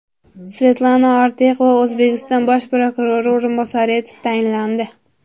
Svetlana Ortiqova O‘zbekiston bosh prokurori o‘rinbosari etib tayinlandi.